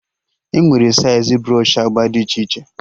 Enwere saịz brsọshị agba dị iche iche